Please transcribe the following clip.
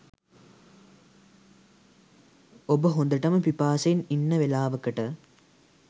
ඔබ හොඳටම පිපාසයෙන් ඉන්න වෙලාවකට